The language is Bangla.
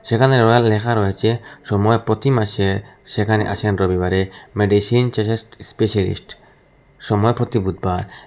যেখানে রয়েল লেখা রয়েছে সময় প্রতি মাসে সেখানে আসেন রবিবারে মেডিসিন চেসেস স্পেশালিস্ট সময় প্রতি বুধবার।